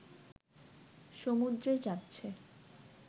সমুদ্রে যাচ্ছে